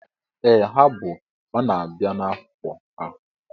Ee ha bụ, ọ na-abịa na afọ ha